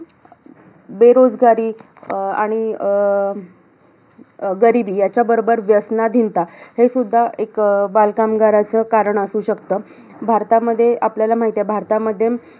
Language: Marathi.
बेरोजगारी अं आणि अं गरिबी, यांच्याबरोबर व्यसनाधिनता, हे सुद्धा बालकामगाराचं कारण असू शकत. भारतामध्ये, आपल्याला माहित आहे. भारतामध्ये